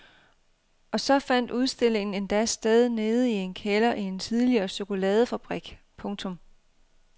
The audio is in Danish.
Og så fandt udstillingen endda sted nede i en kælder i en tidligere chokoladefabrik. punktum